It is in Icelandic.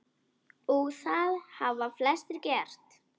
Og það hafa flestir gert.